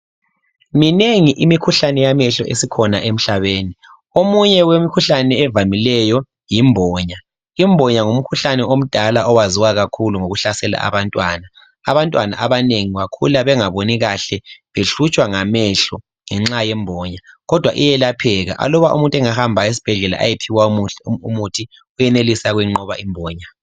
Minengi imikhuhlane yamehlo esikhona emhlabeni. Omunye wemikhuhlane evamileyo yimbonya. Imbonya ngumkhuhlane omdala uyaziwa kakhulu ngokuhlasela abantwana. Abantwana abanengi bakhula bengaboni kahle behlutshwa ngamehlo ngenxa yembonya. Kodwa iyelapheka. Aluba umuntu engahamba esibhedlela ayephiwa umuthi, uyenelisa ukuyinqoba imbonya.